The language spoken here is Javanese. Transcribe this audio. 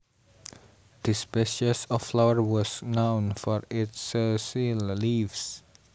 The species of flower was known for its sessile leaves